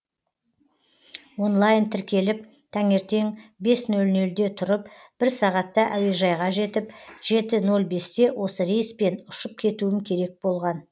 онлайн тіркеліп таңертең бес нөл нөлде тұрып бір сағатта әуежайға жетіп жеті нөл бесте осы рейспен ұшып кетуім керек болған